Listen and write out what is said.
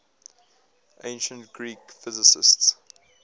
ancient greek physicists